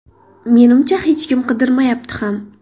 Menimcha, hech kim qidirmayapti ham.